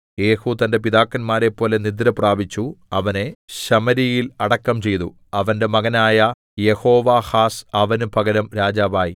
യേഹൂ തന്റെ പിതാക്കന്മാരെപ്പോലെ നിദ്രപ്രാപിച്ചു അവനെ ശമര്യയിൽ അടക്കം ചെയ്തു അവന്റെ മകനായ യെഹോവാഹാസ് അവന് പകരം രാജാവായി